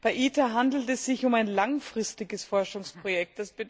Bei ITER handelt es sich um ein langfristiges Forschungsprojekt.